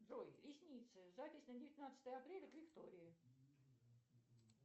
джой ресницы запись на девятнадцатое апреля к виктории